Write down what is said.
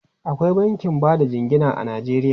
Akwai bankin ba da jingina a Najeriya.